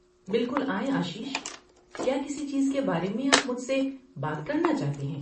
بالکل آئیں آشیش، کیا کسی چیز کے بارے میں آپ مجھے سے بات کرنا چاہتے ہیں؟